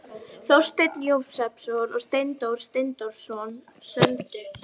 Frekara lesefni á Vísindavefnum: Hvaða skáld samdi heilræðavísur og hvað má segja um slíkan kveðskap?